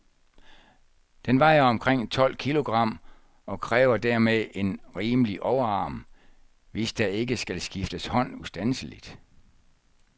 Den vejer omkring tolv kilogram, og kræver dermed en rimelig overarm, hvis der ikke skal skifte hånd ustandseligt.